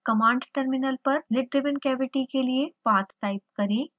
command terminal पर lid driven cavity के लिए पाथ टाइप करें